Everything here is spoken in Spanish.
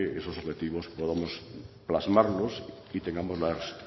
esos objetivos podamos plasmarlos y tengamos las